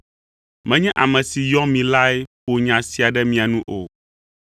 Menye ame si yɔ mi lae ƒo nya sia ɖe mia nu o.